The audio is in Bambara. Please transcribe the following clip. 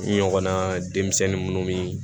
N ɲɔgɔnna denmisɛnnin munnu bi